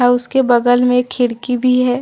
और उसके बगल में खिड़की भी है।